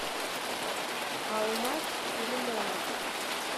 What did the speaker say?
алмаз филимонов